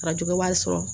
Arajo wari sɔrɔ